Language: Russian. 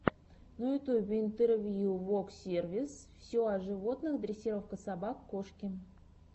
на ютюбе интервью воксервис все о животных дрессировка собак кошки